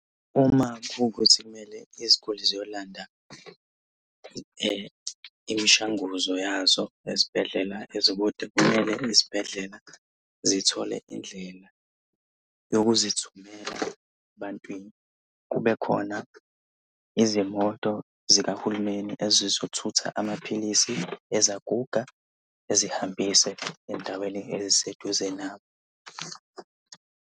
Uma kukukuthi iziguli kumele ziyolanda imishanguzo yazo ezibhedlela ezikude. Kumele izibhedlela zithole indlela yokuzithumela ebantwini. Kube khona izimoto zikahulumeni ezizothutha amaphilisi ezaguga ezihambise endaweni eziseduze nazo.